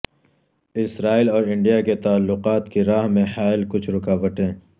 اسرائیل اور انڈیا کے تعلقات کی راہ میں حائل کچھ رکاوٹیں